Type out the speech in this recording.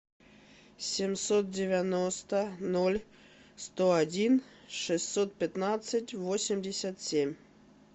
семьсот девяносто ноль сто один шестьсот пятнадцать восемьдесят семь